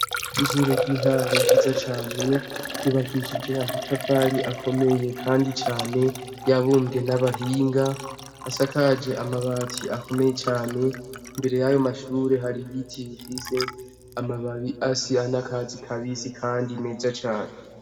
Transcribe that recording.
Ishure ry'intango ryiza cane, ryubakishijwe amatafari akomeye kandi cane yabumbwe n'abahinga, asakaje amabati akomeye cane imbere y'ayo mashure hariyo ibiti bifise amababi asa n'akatsi kabisi kandi meza cane.